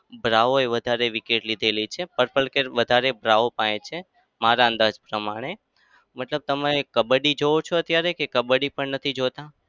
બ્રાઓ એ વધારે wicket લીધેલી છે. purple cap વધારે બ્રાઓ પાહે છે મારા અંદાજ પ્રમાણે. મતલબ તમે કબ્બડી જોઓ છો અત્યારે કે કબ્બડી પણ નથી જોતા?